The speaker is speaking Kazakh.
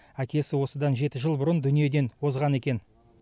әкесі осыдан жеті жыл бұрын дүниеден озған екен